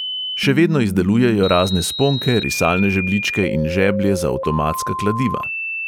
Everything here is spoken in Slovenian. Še vedno izdelujejo razne sponke, risalne žebljičke in žeblje za avtomatska kladiva.